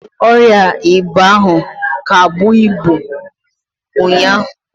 Ọrịa ịba ahụ ka bụọ ibu ụnyaahụ.